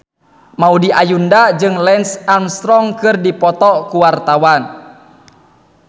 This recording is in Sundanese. Maudy Ayunda jeung Lance Armstrong keur dipoto ku wartawan